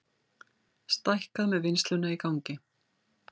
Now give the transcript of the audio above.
Stækkað með vinnsluna í gangi